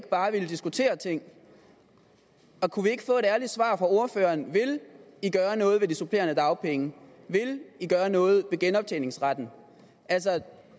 bare at ville diskutere ting kunne vi ikke få et ærligt svar fra ordføreren vil i gøre noget ved de supplerende dagpenge vil i gøre noget ved genoptjeningsretten